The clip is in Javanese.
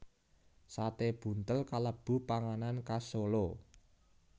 Sate buntel kalebu panganan khas Solo